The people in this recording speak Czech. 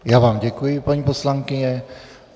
Já vám děkuji, paní poslankyně.